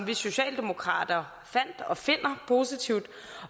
vi socialdemokrater fandt og finder positivt